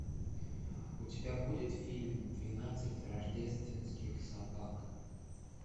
у тебя будет фильм двенадцать рождественских собак